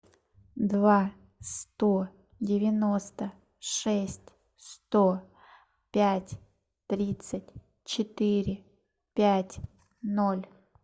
два сто девяносто шесть сто пять тридцать четыре пять ноль